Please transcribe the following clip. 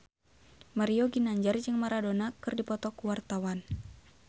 Mario Ginanjar jeung Maradona keur dipoto ku wartawan